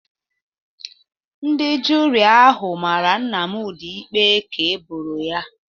Ndị juri ahụ mara Nnamdi ikpe ka eboro ya